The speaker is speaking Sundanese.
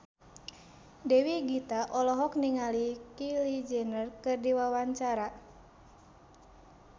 Dewi Gita olohok ningali Kylie Jenner keur diwawancara